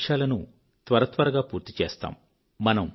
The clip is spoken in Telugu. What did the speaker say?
మనము లక్ష్యాలను త్వరత్వరగా పూర్తి చేస్తాము